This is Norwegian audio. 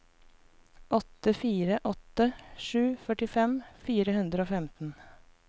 åtte fire åtte sju førtifem fire hundre og femten